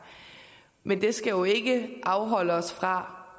men det skal jo ikke afholde os fra